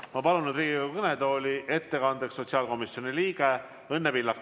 Ma palun ettekandeks Riigikogu kõnetooli sotsiaalkomisjoni liikme Õnne Pillaku.